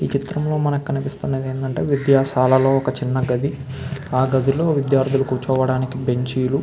ఈ చిత్రంలో మనకు కనిపిస్తున్నది ఏందంటే విద్యాసాలలో ఒక చిన్న గది ఆ గదుల్లో విద్యార్థులు కూర్చోవడానికి బెంచ్ లు --